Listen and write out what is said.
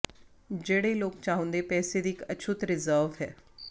ਜਿਹੜੇ ਲੋਕ ਚਾਹੁੰਦੇ ਪੈਸੇ ਦੀ ਇੱਕ ਅਛੂਤ ਰਿਜ਼ਰਵ ਹੈ